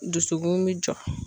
Dusukun mi jɔ.